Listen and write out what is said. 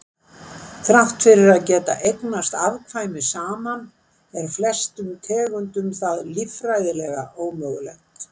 þrátt fyrir að geta eignast afkvæmi saman er flestum tegundum það líffræðilega ómögulegt